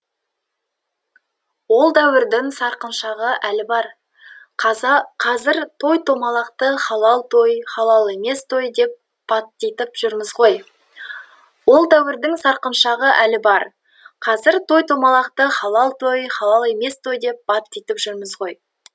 ол дәуірдің сарқыншағы әлі бар қазір той томалақты халал той халал емес той деп баттитып жүрміз ғой ол дәуірдің сарқыншағы әлі бар қазір той томалақты халал той халал емес той деп баттитып жүрміз ғой